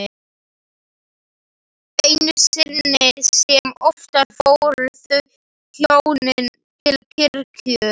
Einu sinni sem oftar fóru þau hjónin til kirkju.